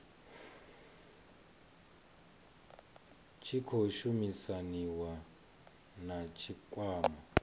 tshi khou shumisaniwa na tshikwama